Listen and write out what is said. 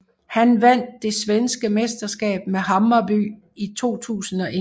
Han vandt det svenske mesterskab med Hammarby i 2001